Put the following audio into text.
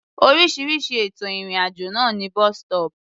Oríṣiríṣi ètò ìrìn-àjò ló ní bus-stop.